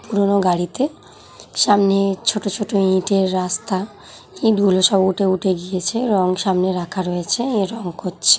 পুরোনো গাড়িতে-এ সামনে ছোট ছোট ইটের রাস্তা ইট গুলো সব উঠে উঠে গিয়েছে রং সামনে রাখা রয়েছে। এ রং করছে।